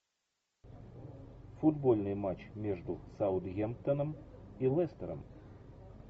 футбольный матч между саутгемптоном и лестером